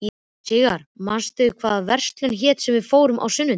Sigarr, manstu hvað verslunin hét sem við fórum í á sunnudaginn?